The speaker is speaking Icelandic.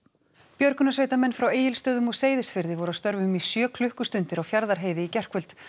björgunarsveitamenn frá Egilsstöðum og Seyðisfirði voru að störfum í sjö klukkustundir á Fjarðarheiði í gærkvöld